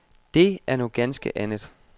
Det er noget ganske andet.